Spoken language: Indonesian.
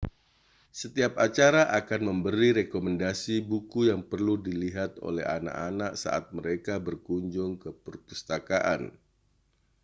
setiap acara akan memberi rekomendasi buku yang perlu dilihat oleh anak-anak saat mereka berkunjung ke perpustakaan